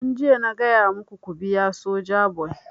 Tun jiya na gaya maku ku biya Sojaboy!